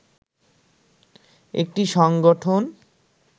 একটি সংগঠন